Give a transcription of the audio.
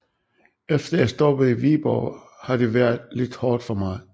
Efter jeg stoppede i Viborg har det været lidt hårdt for mig